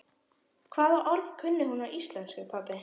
Hvaða orð kunni hún á íslensku, pabbi?